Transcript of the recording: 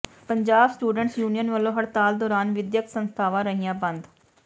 Punjab students union ਵਲੋਂ ਹੜਤਾਲ ਦੌਰਾਨ ਵਿੱਦਿਅਕ ਸੰਸਥਾਵਾਂ ਰਹੀਆਂ ਬੰਦ